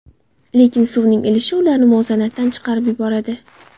Lekin suvning ilishi ularni muvozanatdan chiqarib yuboradi.